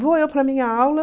Vou eu para a minha aula.